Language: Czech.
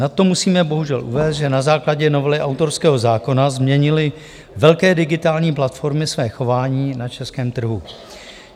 "Nad to musíme bohužel uvést, že na základě novely autorského zákona změnily velké digitální platformy své chování na českém trhu.